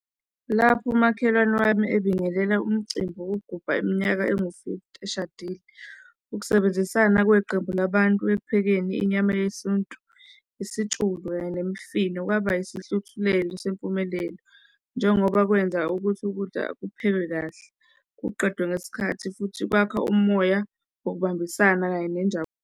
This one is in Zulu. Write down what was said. Lapho umakhelwane wami ebingelela umcimbi wokugubha iminyaka engu-forty eshadile. Ukusebenzisana kweqembu labantu ekuphekeni inyama yesintu, isitshulu kanye nemifino kwaba yisihluthulelo sempumelelo, njengoba kwenza ukuthi ukudla kuphekwe kahle, kuqedwe ngesikhathi futhi kwakha umoya, okubambisana kanye nenjabulo.